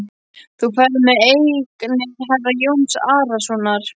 Þú ferð með eignir herra Jóns Arasonar.